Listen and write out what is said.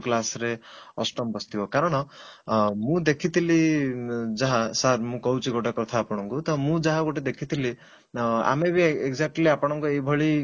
class ରେ ଅଷ୍ଟମ ବସିଥିବ କାରଣ ମୁଁ ଦେଖିଥିଲି ଯାହା sir ମୁଁ କହୁଛି ଗୋଟେ କଥା ଆପଣଙ୍କୁ ତ ମୁଁ ଯାହା ଗୋଟେ ଦେଖିଥିଲି ଅଂ ଆମେ ବି exactly ଆପଣଙ୍କ ଏଇଭଳି